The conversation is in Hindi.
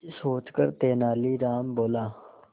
कुछ सोचकर तेनालीराम बोला